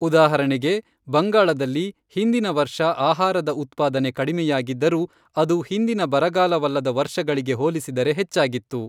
ಉದಾಹರಣೆಗೆ, ಬಂಗಾಳದಲ್ಲಿ, ಹಿಂದಿನ ವರ್ಷ ಆಹಾರದ ಉತ್ಪಾದನೆ ಕಡಿಮೆಯಾಗಿದ್ದರೂ, ಅದು ಹಿಂದಿನ ಬರಗಾಲವಲ್ಲದ ವರ್ಷಗಳಿಗೆ ಹೋಲಿಸಿದರೆ ಹೆಚ್ಚಾಗಿತ್ತು.